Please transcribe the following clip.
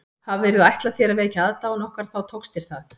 Hafirðu ætlað þér að vekja aðdáun okkar þá tókst þér það